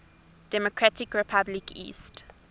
democratic republic east